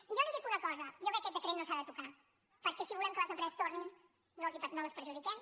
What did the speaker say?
i jo li dic una cosa jo crec que aquest decret no s’ha de tocar perquè si volem que les empreses tornin no les perjudiquem